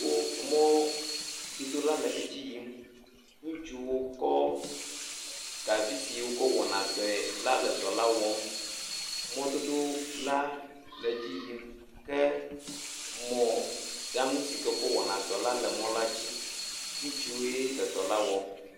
Wo mɔdodola le edzi yim. Ŋutsuwo kɔ gavi si wokɔ wɔna dɔe la le dɔla wɔm. Mɔdodola le dzi yim. Ke mɔɖaŋu si ke wokɔ wɔna dɔe la le mɔdzi. Ŋutsuwoe le dɔ la wɔm.